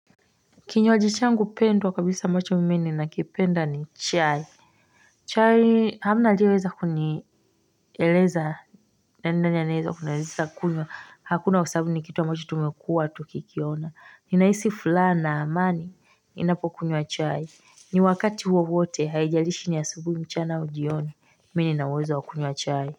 Kinywaji changu pendwa kabisa ambacho mimi ninakipenda ni chai chai hamna aliyeweza kunieleza naenda nyaneweza kunyeleza kunyeleza kunyeleza kunyeleza kunyeleza hakuna usabu ni kitu wa machi tumekua tu kikiona inaisi fulana amani ninapo kunywa chai ni wakati wowote haijalishi ni ya asubuhi mchana au jioni mimi ninauweza wa kunywa chai.